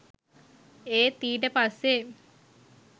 ඒත් ඊට පස්සේ